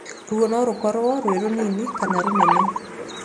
Ruo no rũkorwo rwĩ rũnini kana rũnene.